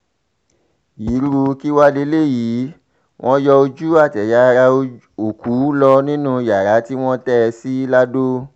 irú kí wàá lélẹ́yìí wọ́n yọ ojú àtẹ̀yà ara òkú lọ nínú yàrá tí wọ́n tẹ́ ẹ sí lado